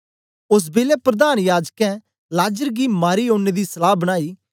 ओस बेलै प्रधान याजकें लाजर गी मारी ओड़ने दी सलहा बनाई